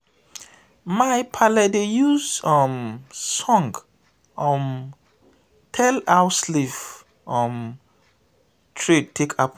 my paale dey use um song um tell how slave um trade take happen.